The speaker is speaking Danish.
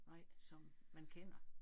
Nej som man kender